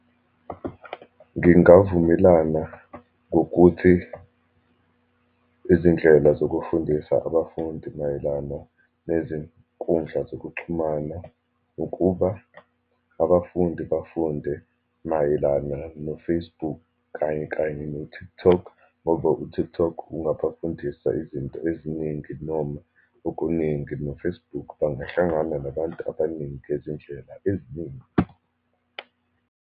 Ngingavumelana ngokuthi izindlela zokufundisa abafundi mayelana nezinkundla zokuxhumana, ukuba abafundi bafunde mayelana no-Facebook, kanye kanye no-TikTok, ngoba u-TikTok ungabafundisa izinto eziningi, noma okuningi no-Facebook, bangahlangana nabantu abaningi ngezindlela eziningi.